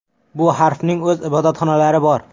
Bu harfning o‘z ibodatxonalari bor .